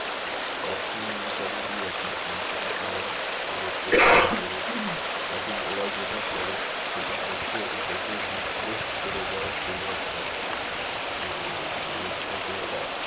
তক্ষন ওটা যদি আপনি complain করেন ওদেরকে তখন ওরা যেটা করে সেটা হচ্ছে ঐটাকে replace করে দেয় free off cost এবং মানে ওটাকে ওরা